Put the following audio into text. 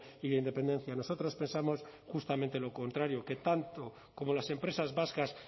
y de independencia nosotros pensamos justamente lo contrario que tanto como las empresas vascas